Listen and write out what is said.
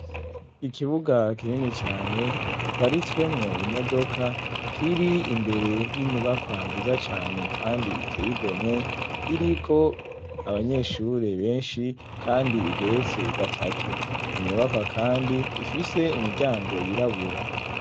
Ikibuga kinini cane giparitswemwo imodoka kiri imbere y'inyubakwa nziza cane, kandi iteye igomwe iriko abanyeshure benshi, kandi igetse gatatu inyubakwa, kandi ifise imiryango yirabura.